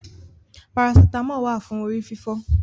Parasítámọ̀ wà fún orí fífọ́.